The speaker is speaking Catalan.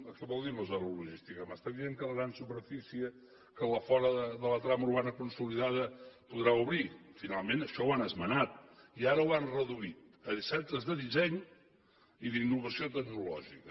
què vol dir una zona logística m’està dient que la gran superfície que fora de la trama urbana consolidada podrà obrir finalment això ho han esmenat i ara ho han reduït a centres de disseny i d’innovació tecnològica